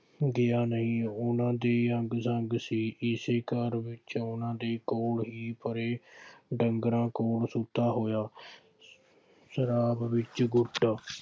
ਗਿਆ ਨਹੀਂ। ਉਹਨਾ ਦੀ ਅੰਗ ਸੰਂਗ ਸੀ। ਕਿਸੇ ਘਰ ਵਿੱਚ ਉਹਨਾ ਦੇ ਕੋਲ ਹੀ ਪਰ੍ਹੇ ਢੰਗਰਾਂ ਕੋਲ ਸੁੱਤਾ ਹੋਇਆ ਸ਼ਰਾਬ ਵਿੱਚ